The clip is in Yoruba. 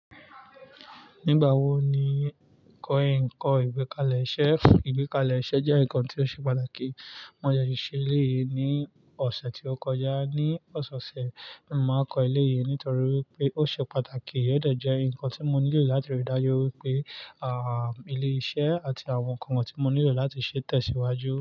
Nígbà wo ni kọ́ ẹ n kọ ìgbékalẹ̀ iṣẹ́? Ìgbékalẹ̀ iṣẹ́ jẹ́ nǹkan tí ó ṣe pàtàkì. Mo sese ṣí ilé yìí ní ọ̀sẹ̀ tí ó kọjá. Ni ọ̀sẹ̀ ọ̀sẹ̀, mo máa kọ ilé yìí nítorí pé ó ṣe pàtàkì. Iyẹn dẹ̀ jẹ́ nǹkan tí mo nílò láti rí i dájú wípé, àáá, ilé iṣẹ́ àti àwọn nǹkan tí mo nílò láti ṣe tẹ̀síwájú.